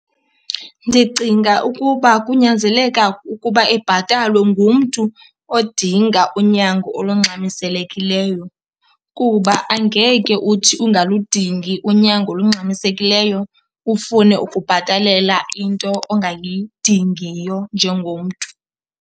Ndicinga ukuba kunyanzeleka ukuba ibhatalwe ngumntu odinga unyango olungxamiselekileyo, kuba angeke uthi ungaludingi unyango olungxamisekileyo ufune ukubhatalela into ongayidingiyo njengomntu.